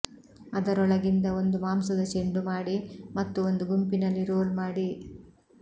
ಅದರೊಳಗಿಂದ ಒಂದು ಮಾಂಸದ ಚೆಂಡು ಮಾಡಿ ಮತ್ತು ಒಂದು ಗುಂಪಿನಲ್ಲಿ ರೋಲ್ ಮಾಡಿ